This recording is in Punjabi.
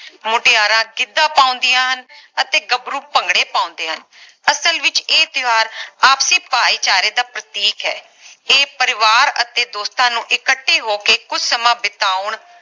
ਮੁਟਿਆਰਾਂ ਗਿੱਧਾ ਪਾਉਂਦੀਆਂ ਹਨ ਅਤੇ ਗਬਰੂ ਭੰਗੜੇ ਪਾਉਂਦੇ ਹਨ ਅਸਲ ਵਿਚ ਇਹ ਤਿਓਹਾਰ ਆਪਸਰੀ ਭਾਈਚਾਰੇ ਦਾ ਪ੍ਰਤੀਕ ਹੈ ਇਹ ਪਰਿਵਾਰ ਅਤੇ ਦੋਸਤਾਂ ਨੂੰ ਇਕੱਠੇ ਹੋ ਕੇ ਕੁਝ ਸਮਾਂ ਬਿਤਾਉਣ